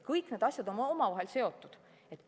Kõik need asjad on omavahel seotud.